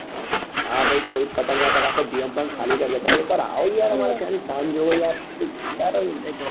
હા ભાઈ કોઈ પતંગ નાં ચગાવે આખું જીવન ગ્રામ કરવા દેતા તમે એક વાર આવો યાર અમારે ત્યાં ની શાન જોવો યાર બધું જોરદાર હોય અરે